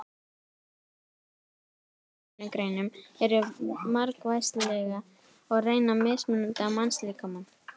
Störf í hinum ýmsu atvinnugreinum eru margvísleg og reyna mismunandi á mannslíkamann.